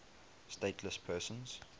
stateless persons